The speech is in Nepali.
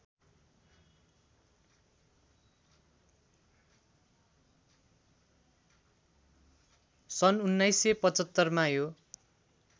सन् १९७५ मा यो